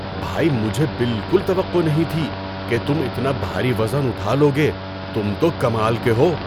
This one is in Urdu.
بھائی! مجھے بالکل توقع نہیں تھی کہ تم اتنا بھاری وزن اٹھا لو گے، تم تو کمال کے ہو!!